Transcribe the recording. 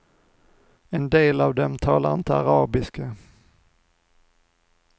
En del av dem talar inte arabiska.